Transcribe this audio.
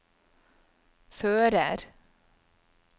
fører